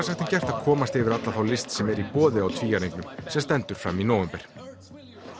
sagt en gert að komast yfir alla þá list sem er í boði á tvíæringnum sem stendur fram í nóvember